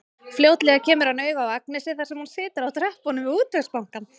Fljótlega kemur hann auga á Agnesi þar sem hún situr á tröppunum við Útvegsbankann.